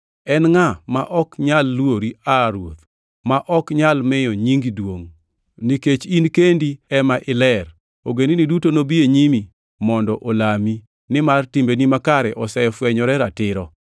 En ngʼa, ma ok nyal luori aa Ruoth, ma ok nyal miyo nyingi duongʼ? Nikech in kendi ema iler, ogendini duto nobi e nyimi mondo olami, nimar timbeni makare osefwenyore ratiro.”